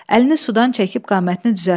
Əlini sudan çəkib qamətini düzəltdi.